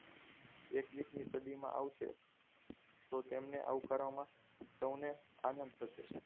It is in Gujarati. એક્વીસ મી સદીમાં આવશે તો તેમને આવકારવામાં સૌંને આનંદ થશે